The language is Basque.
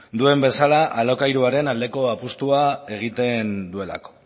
duen bezala alokairuaren aldeko apustua egiten duelako